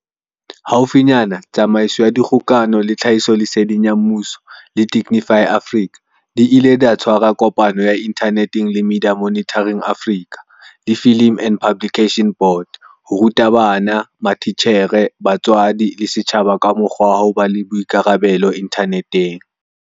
Haufinyane Tsamaiso ya Dikgokano le Tlhahisoleseding ya Mmuso, GCIS, le Digify Africa di ile tsa tshwara kopano ya inthaneteng le Media Monitoring Africa, MMA, le Film and Publication Board, FPB, ho ruta bana, matitjhere, batswadi le setjhaba ka mokgwa wa ho ba le boikarabelo inthaneteng.